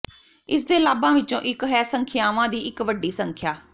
ਇਸਦੇ ਲਾਭਾਂ ਵਿੱਚੋਂ ਇੱਕ ਹੈ ਸੰਖਿਆਵਾਂ ਦੀ ਇੱਕ ਵੱਡੀ ਸੰਖਿਆ